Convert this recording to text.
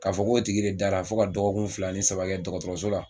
K'a fɔ ko tigi de dara fo ka dɔgɔkun fila ni saba kɛ dɔgɔtɔrɔso la,